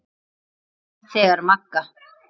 Þegar Magga